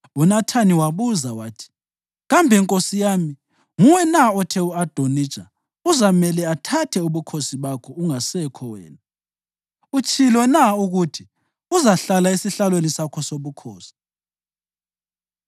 UNathani wabuza wathi, “Kambe, nkosi yami, nguwe na othe u-Adonija uzamele athathe ubukhosi bakho ungasekho wena, utshilo na ukuthi uzahlala esihlalweni sakho sobukhosi?